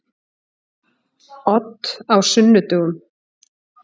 Odd á sunnudögum.